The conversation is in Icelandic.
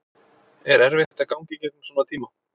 Er erfitt að ganga í gegnum svona tíma?